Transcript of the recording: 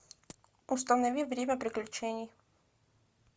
установи время приключений